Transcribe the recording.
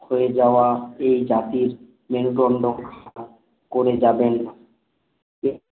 ক্ষয়ে যাওয়া এই জাতির মেরুদণ্ডক করে যাবেন না